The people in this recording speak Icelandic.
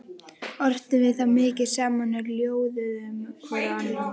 Ortum við þá mikið saman og ljóðuðum hvor á annan.